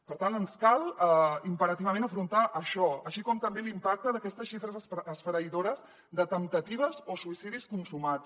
per tant ens cal imperativament afrontar això així com també l’impacte d’aquestes xifres esfereïdores de temptatives o suïcidis consumats